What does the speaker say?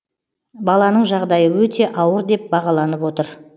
баланың жағдайы өте ауыр деп бағаланып отыр